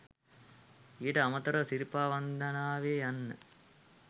ඊට අමතරව සිරිපා වන්දනාවේ යන්න